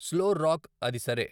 slow rock అది సరే